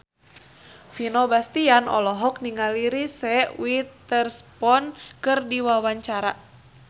Vino Bastian olohok ningali Reese Witherspoon keur diwawancara